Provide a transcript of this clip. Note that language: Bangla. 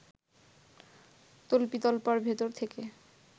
তল্পিতল্পার ভেতর থেকে